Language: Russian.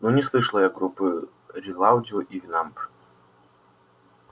ну не слышала я группы рилаудио и винамп